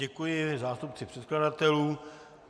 Děkuji zástupci předkladatelů.